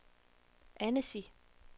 Annecy